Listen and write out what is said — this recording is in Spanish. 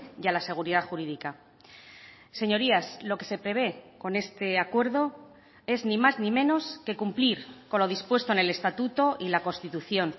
y a la seguridad jurídica señorías lo que se prevé con este acuerdo es ni más ni menos que cumplir con lo dispuesto en el estatuto y la constitución